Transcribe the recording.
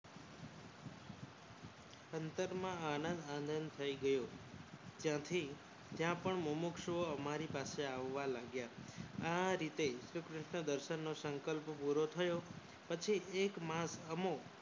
અંતરમાં આનંદ આનંદ થઈ ગયો. ત્યાંથી ત્યાં પણ મોમક્સો અમારી પાસે આવવા લાગ્યા આ રીતે શ્રી કૃષ્ણ દર્શનનો સંકલ્પ પૂરો થયો પછી એક માસ અમો